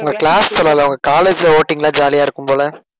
உங்க class சொல்லலை உங்க college ல voting எல்லாம் jolly ஆ இருக்கும் போல